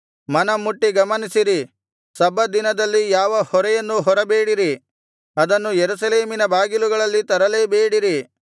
ಮನಮುಟ್ಟಿ ಗಮನಿಸಿರಿ ಸಬ್ಬತ್ ದಿನದಲ್ಲಿ ಯಾವ ಹೊರೆಯನ್ನೂ ಹೊರಬೇಡಿರಿ ಅದನ್ನು ಯೆರೂಸಲೇಮಿನ ಬಾಗಿಲುಗಳಲ್ಲಿ ತರಲೇಬೇಡಿರಿ